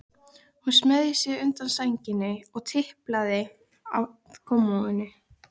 Hún smeygði sér undan sænginni og tiplaði að kommóðunni.